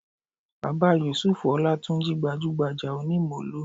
Bàbá Yùsúùfù Ọlátúnjí gbajúgbajà onímóló